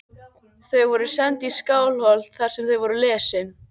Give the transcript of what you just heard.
Þau voru send í Skálholt þar sem þau voru lesin.